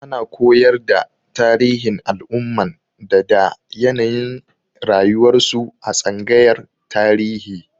Ana koyar da tarihin al'umman da da yanayin rayuwarsu a tsangayar Tarihi.